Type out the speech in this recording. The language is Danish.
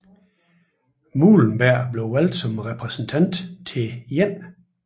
Muhlenberg blev valgt som repræsentant til 1